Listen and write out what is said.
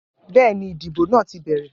Bẹ́ẹ̀ ni, ìdìbò náà ti bẹ̀rẹ̀